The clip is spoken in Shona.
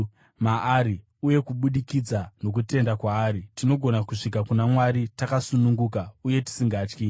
Maari, uye kubudikidza nokutenda kwaari tinogona kusvika kuna Mwari takasununguka uye tisingatyi.